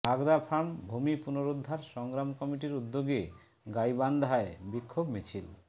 বাগদাফার্ম ভূমি পুনরুদ্ধার সংগ্রাম কমিটির উদ্যোগে গাইবান্ধায় বিক্ষোভ মিছিল